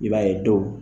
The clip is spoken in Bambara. I b'a ye dɔw